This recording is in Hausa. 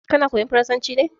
Kana koyan farasanci ne?